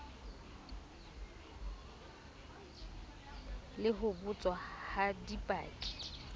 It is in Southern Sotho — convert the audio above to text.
le ho botswa ha dipaki